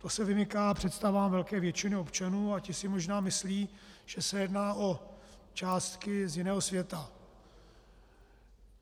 To se vymyká představám velké většiny občanů a ti si možná myslí, že se jedná o částky z jiného světa.